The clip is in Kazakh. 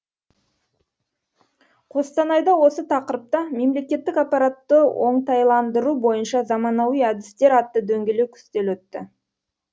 қостанайда осы тақырыпта мемлекеттік аппаратты оңтайландыру бойынша заманауи әдістер атты дөңгелек үстел өтті